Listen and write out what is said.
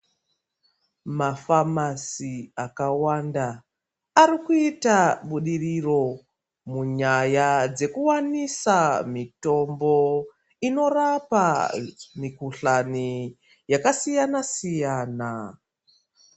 Mafamasi akawanda arikuita budiriro munyaya dzekuwanisa mitombo inorapa mikuhlani yakasiyana-siyana.